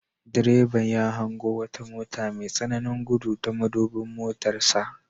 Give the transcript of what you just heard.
Direban ya hango wata mota mai tsananin gudu ta madubin motarsa.